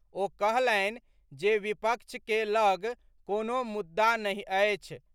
ओ कहलनि जे विपक्ष के लऽग कोनो मुद्दा नहि अछि।